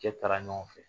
Cɛ taara ɲɔgɔn fɛ